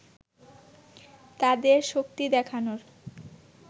তাদের শক্তি দেখানোর